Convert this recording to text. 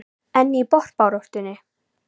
En í botnbaráttu?